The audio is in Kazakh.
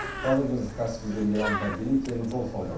қазір біз каспийден иранға дейін теміржол салдық